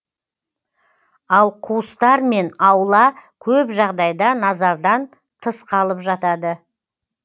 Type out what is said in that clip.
ал қуыстар мен аула көп жағдайда назардан тыс қалып жатады